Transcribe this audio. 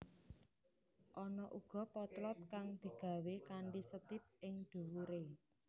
Ana uga potlot kang digawé kanthi setip ing dhuwuré